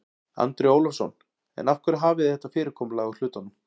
Andri Ólafsson: En af hverju hafið þið þetta fyrirkomulag á hlutunum?